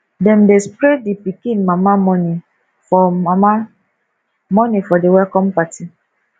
dem dey spray di pikin mama moni for mama moni for di welcome party